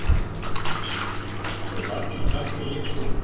Jóhannes: Eru margir krakkar í leikskólanum?